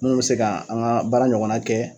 Munnu bɛ se ka an ka baara ɲɔgɔnna kɛ.